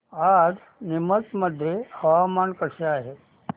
आज नीमच मध्ये हवामान कसे आहे